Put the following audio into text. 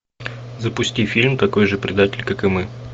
запусти фильм такой же предатель как и мы